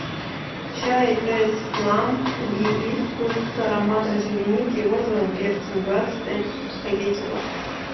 чай тесс флам гибискус с ароматом земляники и розовым перцем двадцать пять пакетиков